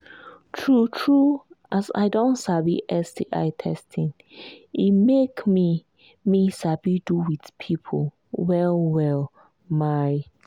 true true as i don sabi sti testing e make me me sabi do with people well well my